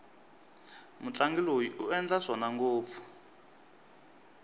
mutlangi loyi u endla swona ngopfu